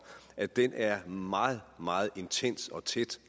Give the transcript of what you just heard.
at den alliance er meget meget intens og tæt